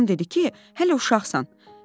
Anam dedi ki, hələ uşaqsan.